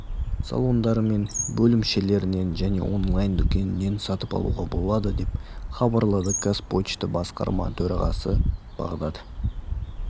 салондары мен бөлімшелерінен және онлайн дүкенінен сатып алуға болады деп хабарлады қазпошта басқарма төрағасы бағдат